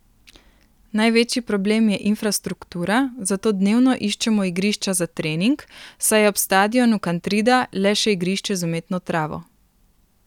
Največji problem je infrastruktura, zato dnevno iščemo igrišča za trening, saj je ob stadionu Kantrida le še igrišče z umetno travo.